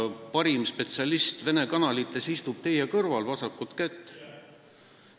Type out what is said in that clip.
Aga parim spetsialist vene kanalite teemal istub teie kõrval, vasakut kätt.